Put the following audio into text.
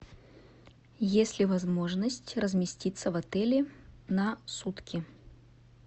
есть ли возможность разместиться в отеле на сутки